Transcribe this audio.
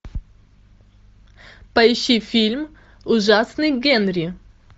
поищи фильм ужасный генри